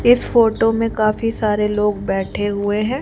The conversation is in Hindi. इस फोटो में काफी सारे लोग बैठे हुए हैं।